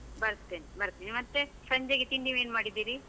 ಬರ್ತೆನೆ ಬರ್ತಿನಿ, ಮತ್ತೆ, ಸಂಜೆಗೆ ತಿಂಡಿ ಏನ್ ಮಾಡಿದ್ದೀರಿ?